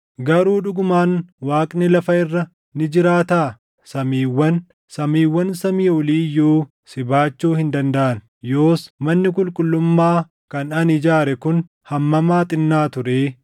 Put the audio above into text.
“Garuu dhugumaan Waaqni lafa irra ni jiraataa? Samiiwwan, samiiwwan samii olii iyyuu si baachuu hin dandaʼan. Yoos manni qulqullummaa kan ani ijaare kun hammam haa xinnaatu ree!